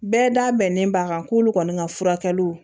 Bɛɛ da bɛnnen b'a kan k'olu kɔni ka furakɛliw